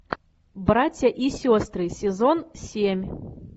братья и сестры сезон семь